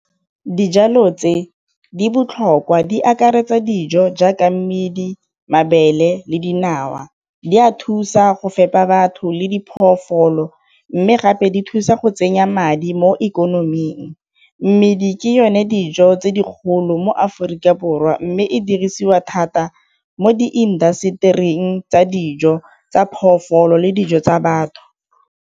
Dijalo tse di botlhokwa di akaretsa dijo jaaka mmidi, mabele le dinawa. Di a thusa go fepa batho le diphologolo, mme gape di thusa go tsenya madi mo ikonoming. Mmidi di ke yone dijo tse di kgolo mo Aforika Borwa mme e dirisiwa thata mo di industry-ing tsa dijo tsa le dijo tsa batho.